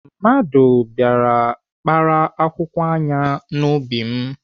Mmadụ bịara kpara akwụkwọ ayan m n'ubi m.